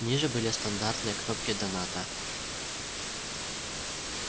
ниже были стандартные кнопки доната